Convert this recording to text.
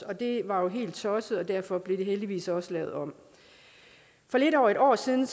det var jo helt tosset og derfor blev det heldigvis også lavet om for lidt over et år siden